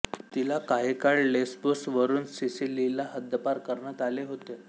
तिला काहीकाळ लेस्बोसवरून सिसिलीला हद्दपार करण्यात आले होते